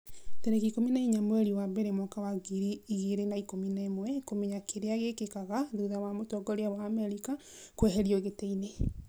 tarĩki ikũmi na inya mweri wa mbere mwaka wa ngiri igĩrĩ na ikũmi na ĩmweKũmenya kĩrĩa gĩkĩkaga thutha wa mũtongoria wa Amerika kũeherio gĩtĩ-inĩ